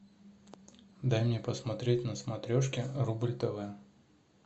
дай мне посмотреть на смотрешке рубль тв